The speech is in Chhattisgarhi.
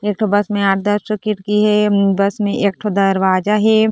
एकठो बस मे आठ दस ठोह खिड़किया हे बस मे एक ठो दरवाजा हे।